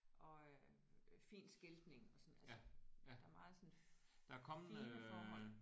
Og øh fin skiltning og sådan altså der er meget sådan fine forhold